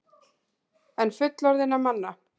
En fullorðinna manna?